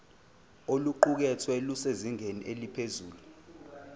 oluqukethwe lusezingeni eliphezulu